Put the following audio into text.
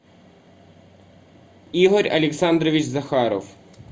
игорь александрович захаров